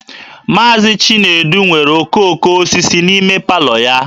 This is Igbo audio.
Mazị Chinedu nwere okooko osisi n'ime palọ ya